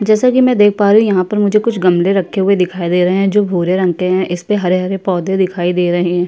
जैसा कि मैं देख पा रही हूँ यहाँ पर मुझे कुछ गमले रखे हुए दिखाई दे रहे हैं जो भूरे रंग के हैं। इस पे हरे-हरे पौधे दिखाई दे रहें हैं।